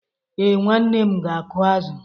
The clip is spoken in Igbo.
Ee, nwanne m ga-akụ azụ.